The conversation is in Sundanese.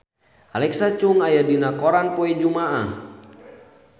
Alexa Chung aya dina koran poe Jumaah